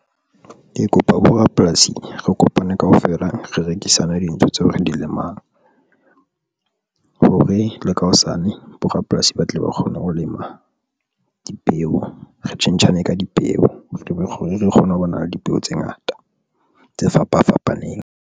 Ke kopa bo rapolasi re kopane kaofela re rekisana dintho tseo re di lemang hore le ka hosane borapolasi ba tle ba kgone ho lema dipeo, re tjhentjhane ka dipeo, rebe re kgone ho bona le dipeo tse ngata tse fapa fapaneng.